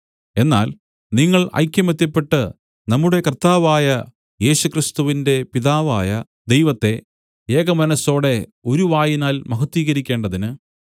എന്നാൽ നിങ്ങൾ ഐകമത്യപ്പെട്ട് നമ്മുടെ കർത്താവായ ക്രിസ്തുയേശുവിന്റെ പിതാവായ ദൈവത്തെ ഏകമനസ്സോടെ ഒരു വായിനാൽ മഹത്വീകരിക്കേണ്ടതിന്